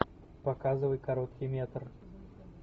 показывай короткий метр